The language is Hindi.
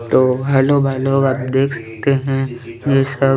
तो हेलो हेलो आप देख सकते है ये सब --